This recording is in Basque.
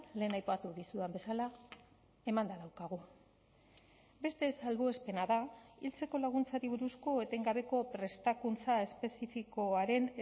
lehen aipatu dizudan bezala emanda daukagu beste salbuespena da hiltzeko laguntzari buruzko etengabeko prestakuntza espezifikoaren